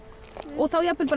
og jafnvel